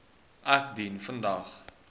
ek dien vandag